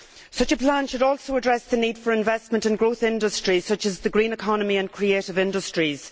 Such a plan should also address the need for investment and growth industries such as the green economy and creative industries.